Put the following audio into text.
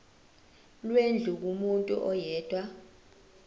lwendlu kumuntu oyedwa